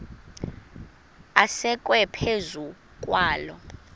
asekwe phezu kwaloo